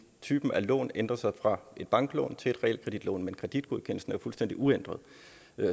type af lån ændrer sig fra et banklån til et realkreditlån men kreditgodkendelsen er jo fuldstændig uændret